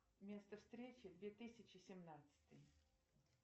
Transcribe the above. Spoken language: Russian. место встречи две тысячи семнадцатый